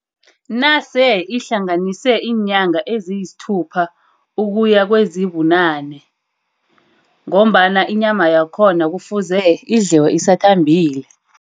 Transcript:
Nase ihlanganise iinyanga eziyisthupha ukuya kwezibunane. Ngombana inyama yakhona kufuze idliwe isathambile.